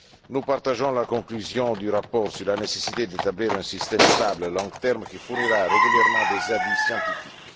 Nous partageons la conclusion du rapport sur la nécessité d'établir un système stable à long terme qui fournira régulièrement des avis scientifiques.